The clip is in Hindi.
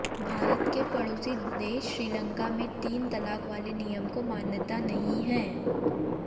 भारत के पड़ोसी देश श्रीलंका में तीन तलाक वाले नियम को मान्यता नहीं है